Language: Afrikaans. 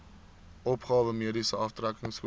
opgawe mediese aftrekkingskode